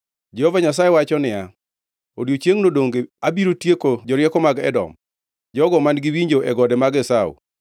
Jehova Nyasaye wacho niya, “Odiechiengʼno donge abiro tieko jorieko mag Edom, jogo man-gi winjo e gode mag Esau?